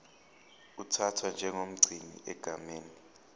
uthathwa njengomgcini egameni